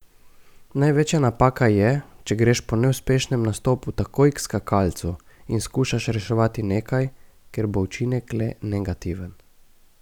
Največja napaka je, če greš po neuspešnem nastopu takoj k skakalcu in skušaš reševati nekaj, ker bo učinek le negativen.